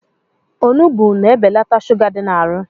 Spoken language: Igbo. Onugbu na-ebelata shuga dị n'arụ